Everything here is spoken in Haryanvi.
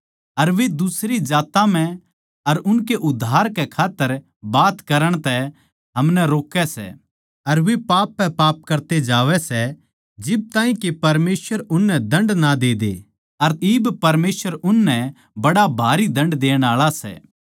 अर वे दुसरी जात्तां म्ह उनकै उद्धार कै खात्तर बात करण तै हमनै रोकै सै अर वे पाप पै पाप करते जावै सै जिब ताहीं के परमेसवर उननै दण्ड ना दे दे अर इब परमेसवर उननै बड़ा भरी दण्ड देण आळा